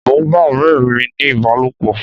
Mò ń bá ọ̀rẹ́ mi ní ìbálòpọ̀.